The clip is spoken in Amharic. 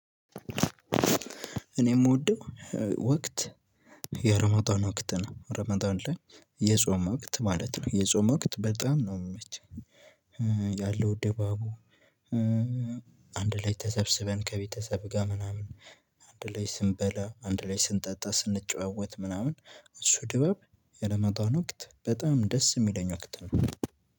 እኔ የምወደው ወቅት የረመዳን ወቅት ነው ረመዳን ላይ የጾም ወቅት ማለት ነው የጾም ወቅት በጣም ነው የሚመቸኝ። ያለው ደባቡ። አንድ ላይ ተሰብስበን ከቤተሰብ ጋር ምናምን አንድ ላይ ስንበላ አንድ ላይ ስንጠጣ ስንጨዋወት ምናምን እሱ ድበብ የረመዳን ወቅት በጣም ደስ የሚለኝ ወቅት ነው።